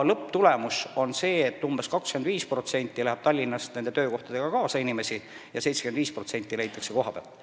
Lõpptulemus on see, et umbes 25% inimestest läheb Tallinnast töökohtadega kaasa ja 75% töötajatest leitakse kohapealt.